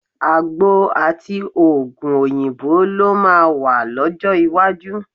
Àgbo àti òògùn òyìnbó ló máa wà lọ́jọ́ iwájú.